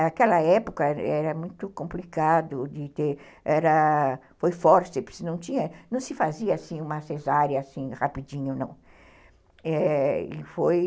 Naquela época era era muito complicado, de ter, foi fórceps, não se fazia uma cesárea assim rapidinho, não. É... e foi